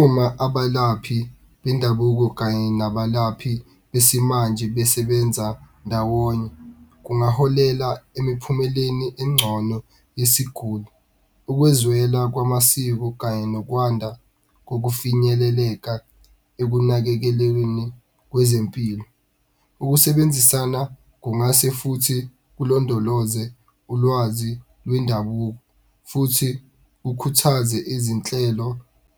Uma abalaphi bendabuko kanye nabalaphi besimanje besebenza ndawonye, kungaholela emiphumeleni engcono yesiguli, ukwezwela kwamasiko kanye nokwanda kokufinyeleleka ekunakekelweni kwezempilo. Ukusebenzisana kungase futhi kulondoloze ulwazi lwendabuko futhi kukhuthaze izinhlelo